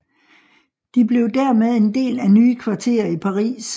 De blev dermed en del af nye kvarterer i Paris